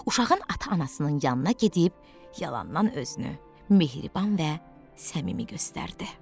Uşağın ata-anasının yanına gedib yalandan özünü mehriban və səmimi göstərdi.